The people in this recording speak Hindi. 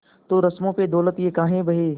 तो रस्मों पे दौलत ये काहे बहे